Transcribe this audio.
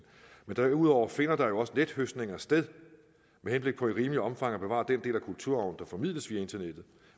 men derudover finder der jo også nethøstninger sted med henblik på i rimeligt omfang at bevare den del af kulturarven der formidles via internettet